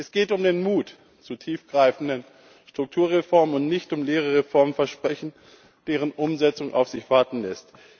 Es geht um den Mut zu tiefgreifenden Strukturreformen und nicht um leere Reformversprechen, deren Umsetzung auf sich warten lässt.